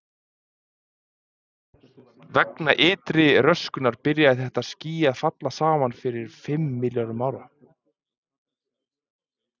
Vegna ytri röskunar byrjaði þetta ský að falla saman fyrir um fimm milljörðum ára.